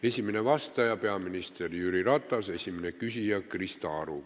Esimene vastaja on peaminister Jüri Ratas ja esimene küsija on Krista Aru.